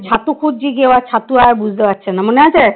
ছাতু খুঁজছি কেউ আর ছাতু আর বুঝতে পারছে না মনে আছে